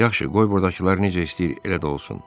Yaxşı, qoy burdakılar necə istəyir, elə də olsun.